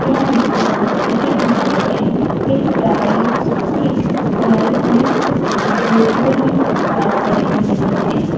ત્યાં રીક્ષા પાસે એક ગાય છે એક ગાડી એક લાલ અને સફેદ ફોરવીલ પાર્ક કરેલી દેખાય છે.